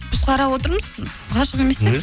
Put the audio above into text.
біз қарап отырмыз ғашық емес